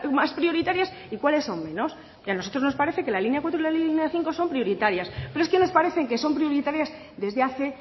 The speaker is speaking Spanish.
más prioritarias y cuáles son menos y a nosotros nos parece que la línea cuatro y la línea cinco son prioritarias pero es que nos parece que son prioritarias desde hace